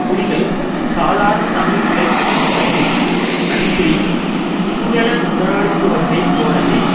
புலிகள் சாதாரண தமிழ் உழைக்கும் மக்களை அன்றி சிங்கள முதலாளித்துவத்தை போலவே